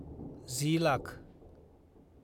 जि lakh